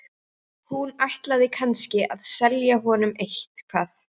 Hún ætlaði kannski að selja honum eitthvað.